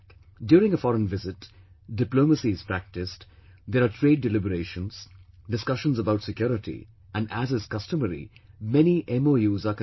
During a foreign visit, diplomacy is practiced, there are trade deliberations, discussions about security and as is customary, many MoUs are concluded